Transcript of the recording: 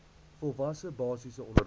volwasse basiese onderwys